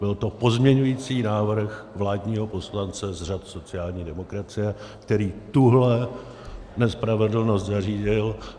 Byl to pozměňovací návrh vládního poslance z řad sociální demokracie, který tuhle nespravedlnost zařídil.